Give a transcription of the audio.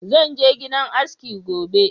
Zan je shagon aski gobe.